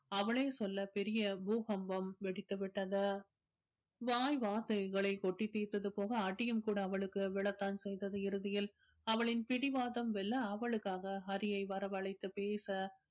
அவளே சொல்ல பெரிய பூகம்பம் வெடித்து விட்டது வாய் வார்த்தைகளை கொட்டி தீர்த்தது போக அடியும் கூட அவளுக்கு விழத்தான் செய்தது இறுதியில் அவளின் பிடிவாதம் வெல்ல அவளுக்காக ஹரியை வரவழைத்து பேச